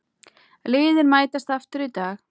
Liðin mætast aftur í dag.